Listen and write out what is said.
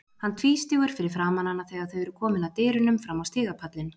Hann tvístígur fyrir framan hana þegar þau eru komin að dyrunum fram á stigapallinn.